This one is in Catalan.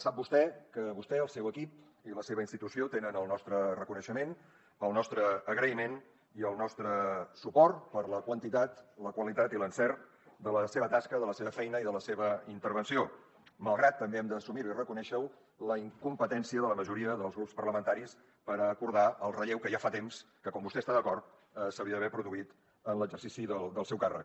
sap vostè que vostè el seu equip i la seva institució tenen el nostre reconeixement el nostre agraïment i el nostre suport per la quantitat la qualitat i l’encert de la seva tasca de la seva feina i de la seva intervenció malgrat també hem d’assumir ho i reconèixer ho la incompetència de la majoria dels grups parlamentaris per acordar el relleu que ja fa temps que com vostè hi està d’acord s’hauria d’haver produït en l’exercici del seu càrrec